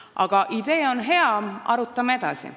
Aga idee on hea – arutame edasi.